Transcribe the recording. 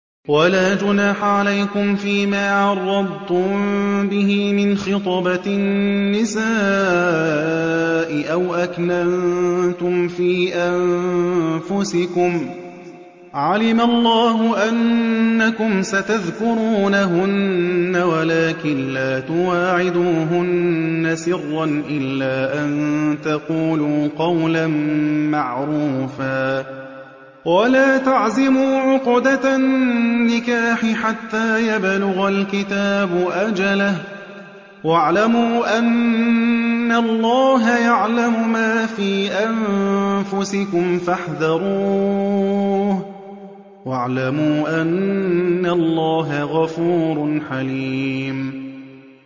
وَلَا جُنَاحَ عَلَيْكُمْ فِيمَا عَرَّضْتُم بِهِ مِنْ خِطْبَةِ النِّسَاءِ أَوْ أَكْنَنتُمْ فِي أَنفُسِكُمْ ۚ عَلِمَ اللَّهُ أَنَّكُمْ سَتَذْكُرُونَهُنَّ وَلَٰكِن لَّا تُوَاعِدُوهُنَّ سِرًّا إِلَّا أَن تَقُولُوا قَوْلًا مَّعْرُوفًا ۚ وَلَا تَعْزِمُوا عُقْدَةَ النِّكَاحِ حَتَّىٰ يَبْلُغَ الْكِتَابُ أَجَلَهُ ۚ وَاعْلَمُوا أَنَّ اللَّهَ يَعْلَمُ مَا فِي أَنفُسِكُمْ فَاحْذَرُوهُ ۚ وَاعْلَمُوا أَنَّ اللَّهَ غَفُورٌ حَلِيمٌ